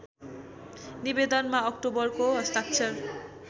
निवेदनमा अक्टोबरको हस्ताक्षर